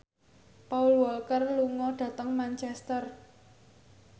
Paul Walker lunga dhateng Manchester